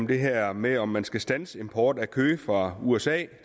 det her med om man skal standse import af kød fra usa